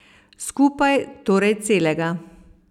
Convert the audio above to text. Skupaj torej celega.